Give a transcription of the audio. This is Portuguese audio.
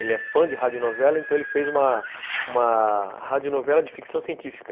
Ele é fã de rádio novela, então ele fez uma uma rádio novela de ficção científica.